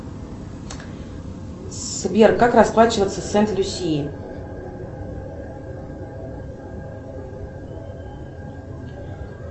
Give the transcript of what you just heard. сбер как расплачиваться в сент люсии